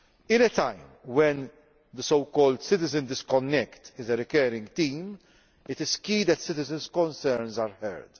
At a time when the so called citizen disconnect' is a recurring theme, it is crucial that citizens' concerns are heard.